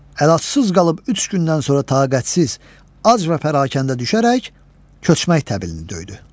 Əlacsız qalıb üç gündən sonra taqətsiz, ac və pərakəndə düşərək köçmək təbilini döydü.